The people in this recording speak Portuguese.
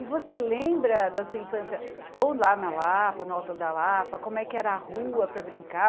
E você lembra da sua infância, ou lá na Lapa, no Alto da Lapa, como é que era a rua para brincar?